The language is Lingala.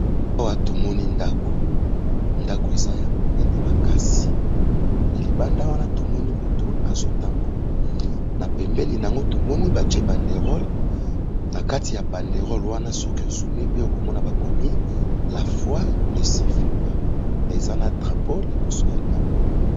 Awa tomoni ndako. Ndako eza ya monene makasi mais libanda wana tomoni mutu azotambola, na pembéni nango, tomoni batié bandérole, na kati ya bandérole wana, soki ozumé bien, okomona bakomi "la foi ne suffit pas"mais eza na drapaux liboso ya ndako wana.